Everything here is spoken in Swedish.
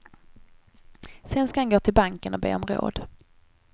Sen ska han gå till banken och be om råd.